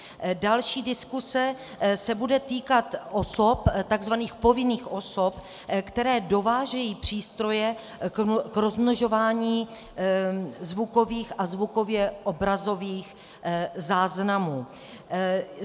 Další diskuse se bude týkat osob, takzvaných povinných osob, které dovážejí přístroje k rozmnožování zvukových a zvukově obrazových záznamů.